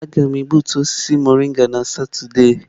Aga m egbutu osisi mọrịnga na Satọde.